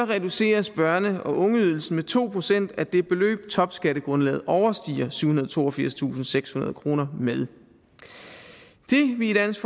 reduceres børne og ungeydelsen med to procent af det beløb topskattegrundlaget overstiger syvhundrede og toogfirstusindsekshundrede kroner med det vi i dansk